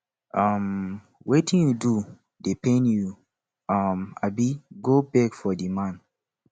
um wetin you do dey pain you um abi go beg for di man